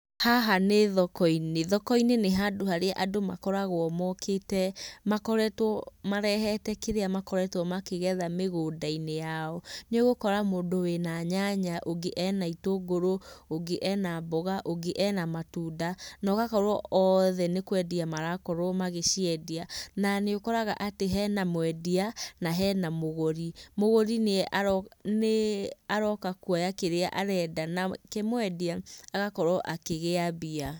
Haha nĩ thokoinĩ, thokoinĩ nĩ handũ harĩa andũ makoragwo mokĩte makoretwo marehete kĩrĩa makoretwo makĩgetha mĩgũndainĩ yao. Nĩũgũkora mũndũ wĩ na nyanya, ũngĩ ena gĩtũngũrũ, ũngĩ ena mboga, ũngĩ ena matunda na ũgakorwo othe nĩkwendia marakorwo magĩciendia. Na nĩ ũkoraga hena mwendia na hena mũgũri. Mũgũri nĩaroka kuoya kĩrĩa arenda nake mwendia agakorwo akĩgĩa mbia.